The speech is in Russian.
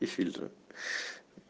и фильтра